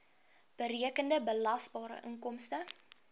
berekende belasbare inkomste